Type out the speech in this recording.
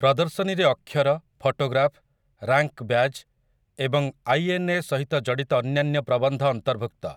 ପ୍ରଦର୍ଶନୀରେ ଅକ୍ଷର, photograph, rank badge ଏବଂ ଆଇଏନ୍ଏ ସହିତ ଜଡ଼ିତ ଅନ୍ୟାନ୍ୟ ପ୍ରବନ୍ଧ ଅନ୍ତର୍ଭୁକ୍ତ ।